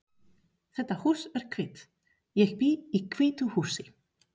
Þetta hús er hvítt. Ég bý í hvítu húsi.